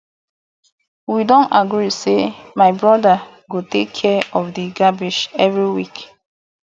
we don agree say my brother go take care of the garbage every week